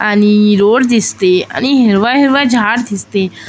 आणि रोड दिसते आणि हिरवा हिरवा झाड दिसते --